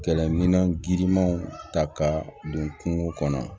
Kɛlɛminɛn girinmanw ta ka don kungo kɔnɔ